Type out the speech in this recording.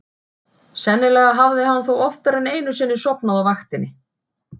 Sennilega hafði hann þó oftar en einu sinni sofnað á vaktinni.